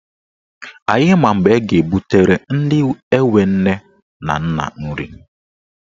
Anyị ma mgbe a ga-ebutere ndị enwe nne na nna nri.